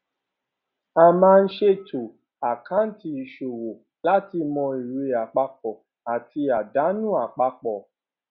a máa ń ṣètò àkáǹtì ìṣòwò láti mọ èrè àpapọ àti àdánù àpapọ